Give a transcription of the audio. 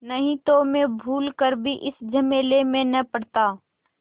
नहीं तो मैं भूल कर भी इस झमेले में न पड़ता